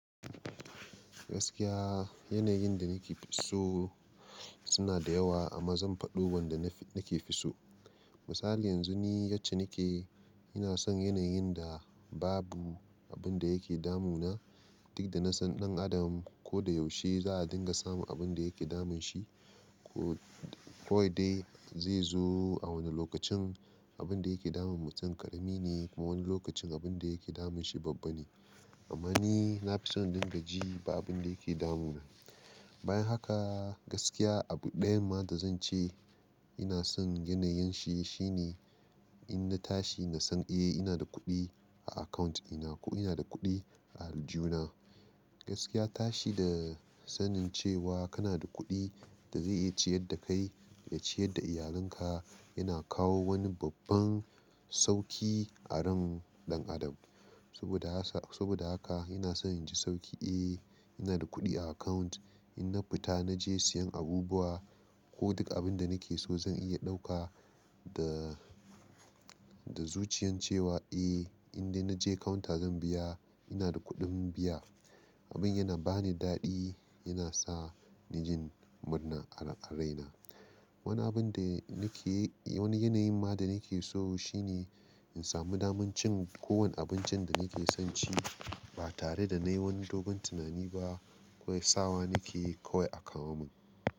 Gaskiya yana yin da nake fi so suna da yawa amma zan faɗo wanda nafi nake fi so. Misali yanzu ni yace nake ina son yana yin da babu abin da yake damuna. Duk da na san ɗan adam ko da yaushe za a dinga samu abin da yake damun shi. Kawai dai zai zo a wani lokacin abin da yake damun mutum ƙarami ne kuma wani lokacin abin da yake damun shi babba ne. Amma ni na fi son dinga ji ba abin da yake damuna. Bayan haka gaskiya abu ɗayan ma da zan ce ina son yana yin shi, shine in na tashi na san eh ina da kuɗi a account ina ko ina da kuɗi a aljihu na. Gaskiya tashi da sanin cewa kana da kuɗi da zai iya ciyar da kai da ciyar da iyalin ka yana kawo wani babban sauki a ran ɗan adam. Saboda haka ina son in ji sauki eh ina da kuɗi a account in na fita na je siyan abubuwa, ko duk abin da nake so zan iya ɗauka da zuciyan cewa eh in dai na je counter zan biya ina da kuɗin biya. Abin yana ba ni daɗi yana sa ni jin murna a raina. Wani abin da nake wani yanayi ma da nake so shine in samu daman cin kowane abincin da nake son ci ba tare da na yi wani dogun tunani ba ko ya sawa nake kawai a kawo mun.